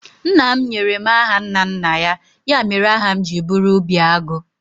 Nna m nyere m aha nna nna ya, ya mere aha m ji bụrụ Obiagu